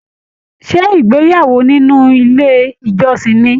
Ṣé ìgbéyàwó nínú ilé ìjọsìn ní?